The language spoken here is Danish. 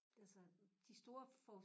Altså de store for